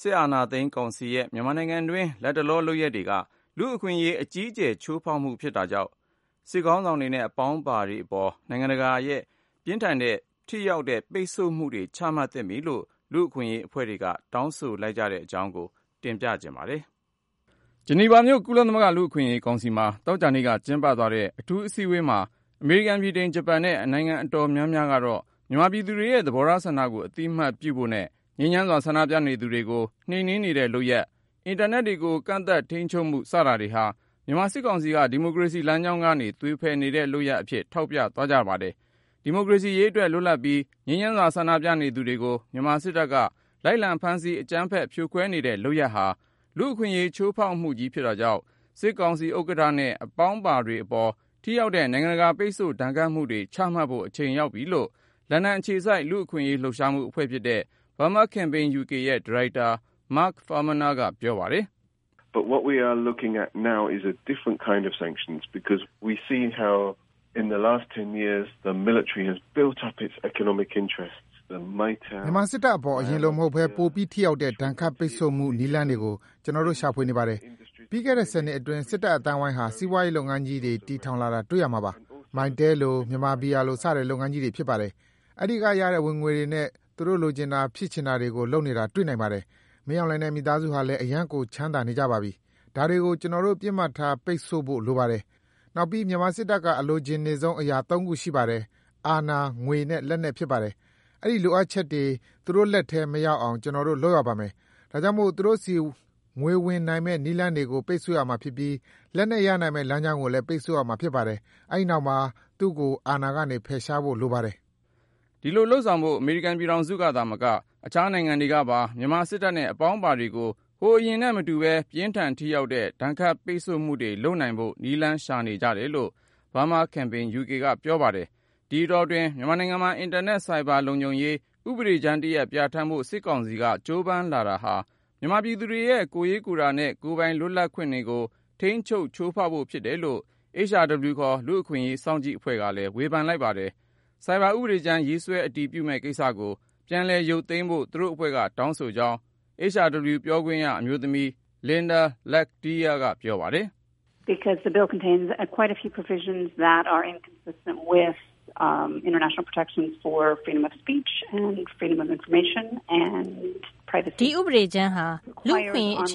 စစ်အာဏာသိမ်းကောင်စီရဲ့ မြန်မာနိုင်ငံတွင်း လတ်တလော လုပ်ရပ်တွေက လူ့အခွင့်အရေး အကြီးအကျယ်ချိုးဖောက်မှုဖြစ်တာကြောင့် နိုင်ငံတကာအသိုင်းအဝိုင်းက စစ်ခေါင်းဆောင်တွေနဲ့ အပေါင်းအပါတွေအပေါ် ပြင်းထန် ထိရောက်တဲ့ ပိတ်ဆို့ဒဏ်ခတ်မှုတွေ ချမှတ်သင့်ပြီလို့ လူ့အခွင့်အရေး အဖွဲ့တွေက တောင်းဆိုလိုက်ကြတဲ့ အကြောင်းကို ကိုဉာဏ်ဝင်းအောင် တင်ပြပေးမှာပါ။ ဂျနီဗာမြို့ ကုလသမဂ္ဂ လူ့အခွင့်အရေးကောင်စီမှာ သောကြာနေ့က ကျင်းပသွားတဲ့ အထူးအစည်းအဝေးမှာ အမေရိကန် ဗြိတိန် ဂျပန်နဲ့ နိုင်ငံအတော်များများကတော့ မြန်မာပြည်သူတွေရဲ့ သဘောထားဆန္ဒကို အသိမှတ်ပြုဖို့နဲ့ ငြိမ်းချမ်းစွာဆန္ဒပြနေသူတွေကို နှိမ်နင်းနေတဲ့လုပ်ရပ်၊ အင်တာနက်ကို ကန့်သတ်ထိန်းချုပ်မှု စတာတွေဟာ မြန်မာစစ်ကောင်စီက ဒီမိုကရေစီလမ်းကြောင်းကနေ သွေဖယ်နေတဲ့လုပ်ရပ်တွေအဖြစ် ထောက်ပြသွားကြတာပါ။ ဒီမိုကရေစီရေးအတွက် လွတ်လပ်ပြီးငြိမ်းချမ်းစွာ ဆန္ဒပြနေသူတွေကို မြန်မာစစ်တပ်က လိုက်လံဖမ်းဆီး အကြမ်းဖက် ဖြိုခွဲနေတဲ့လုပ်ရပ်ဟာ လူ့အခွင့်အရေးချိုးဖောက်မှုကြီး ဖြစ်တာကြောင့် စစ်ကောင်စီဥက္ကဌနဲ့ အပေါင်းအပါတွေအပေါ် ထိရောက်တဲ့ နိုင်ငံတကာပိတ်ဆို့ဒဏ်ခတ်မှုတွေ ချမှတ်ဖို့ အချိန်ရောက်ပြီလို့ လန်ဒန်အခြေစိုက် လူ့အခွင့်ရေးလှုပ်ရှားမှုအဖွဲ့ Burma Campaign UK ရဲ့ဒါရိုက်တာ Mark Farmaner က ပြောပါတယ်။ " မြန်မာစစ်တပ်အပေါ် အရင်လိုမဟုတ်ပဲ ပိုပြီးထိရောက်တဲ့ ဒဏ်ခတ်ပိတ်ဆို့မှု နည်းလမ်းတွေကို ကျနော်တို့ ရှာဖွေနေပါတယ်။ ပြီးခဲ့တဲ့ ၁၀ နှစ်အတွင်း စစ်တပ်နဲ့ အသိုင်းဝိုင်းဟာ စီးပွားရေးလုပ်ငန်းကြီးတွေ တည်ထောင်လာတာတွေ့ရမှာပါ။ Mytel လို ၊ မြန်မာဘီယာလို စတဲ့လုပ်ငန်းကြီးတွေ ဖြစ်ပါတယ်။ အဲဒီကရတဲ့ ငွေတွေနဲ့ သူတို့လိုချင်တာ ဖြစ်ချင်တာတွေကို လုပ်နေတာတွေ့နိုင်ပါတယ်။ မင်းအောင်လှိုင်နဲ့ သူ့မိသားစုဟာလည်း အရမ်းကို ချမ်းသာနေကြပါပြီ၊ ဒါတွေကို ကျနော်တို့ ပစ်မှတ်ထား ပိတ်ဆို့ဖို့ လိုပါတယ်။ နောက်ပြီး မြန်မာစစ်တပ်က အလိုချင်နေဆုံး အရာ ခုရှိပါတယ်။ အာဏာ ၊ ငွေနဲ့ လက်နက် ဖြစ်ပါတယ်။ အဲဒီလိုအပ်ချက်တွေ သူတို့လက်ထဲ မရောက်အောင် ကျနော်တို့ လုပ်ရပါမယ်။ ဒါကြောင့်မို့ သူတို့ဆီ ငွေဝင်နိုင်မယ့် လမ်းကြောင်းကို ပိတ်ဆို့ရမှာဖြစ်ပြီး၊ လက်နက် ရရှိနိုင်မယ့် လမ်းကြောင်းကိုလည်း ပိတ်ဆို့ရမှာဖြစ်ပါတယ်။ အဲဒီနောက်မှာ သူ့ကို အာဏာကနေ ဖယ်ရှားဖို့ လိုပါတယ်။ " ဒီလို လုပ်ဆောင်နိုင်ဖို့ အမေရိကန်ပြည်ထောင်စု သာမက အခြားနိုင်ငံတွေကပါ မြန်မာစစ်တပ်နဲ့ အပေါင်းအပါတွေကို ဟိုအရင်နဲ့မတူပဲ ပြင်းထန်ထိရောက်တဲ့ ဒဏ်ခတ်ပိတ်ဆို့မှုတွေ လုပ်နိုင်ဖို့ နည်းလမ်းရှာနေကြတယ်လို့ Burma Campaign UK ကပြောပါတယ်။ ဒီအတောအတွင်း မြန်မာနိုင်ငံမှာ အင်တာနက်ဆိုင်ဘာလုံခြုံရေး ဥပဒေကြမ်းတရပ် ပြဌာန်းဖို့ စစ်ကောင်စီက ကြိုးပမ်းလာတာဟာ မြန်မာပြည်သူတွေရဲ့ ကိုယ်ရေးကိုယ်တာနဲ့ ကိုယ်ပိုင် လွတ်လပ်ခွင့်တွေကို ထိန်းချုပ် ချိုးဖေါက်ဖို့ ဖြစ်တယ်လို့ HRW ခေါ် လူ့အခွင့်အရေး စောင့်ကြည့်အဖွဲ့ကလည်း ဝေဖန်လိုက်ပါတယ်။ ဆိုင်ဘာဥပဒေကြမ်း ရေးဆွဲအတည်ပြုမယ့်ကိစ္စကို ပြန်ရုပ်သိမ်းဖို့ သူတို့အဖွဲ့က တောင်းဆိုကြောင်း HRW ပြောခွင့်ရအမျိုးသမီး Linda Lakhdhir က ပြောပါတယ်။ " ဒီဥပဒေကြမ်းဟာ လူ့အခွင့်အရေး အခ